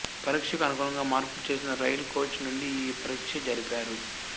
పరీక్షకు అనుగుణంగా మార్పులు చేసిన రైలు కోచ్ నుండి ఈ పరీక్ష జరిపారు